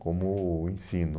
como o ensino.